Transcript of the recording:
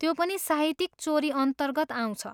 त्यो पनि साहित्यिक चोरी अन्तर्गत आउँछ।